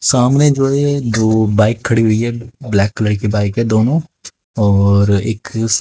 सामने जो ये दो बाइक खड़ी हुई है ब्लैक कलर की बाइक है दोनों और एक--